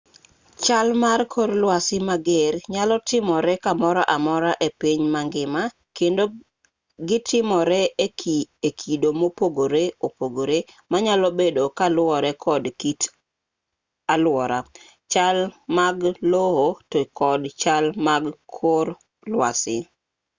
chal mar kor lwasi mager nyalo timore kamoro amora e piny mangima kendo gitimore e kido mopogore opogore manyalo bedo kaluwore kod kit alwora chal mag lowo to kod chal mag kor lwasi